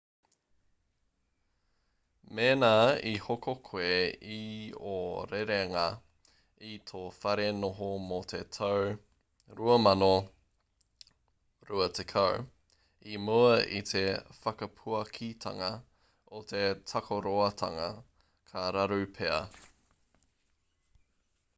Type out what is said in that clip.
mēnā i hoko koe i ō rerenga i tō whare noho mō te tau 2020 i mua i te whakapuakitanga o te takaroatanga ka raru pea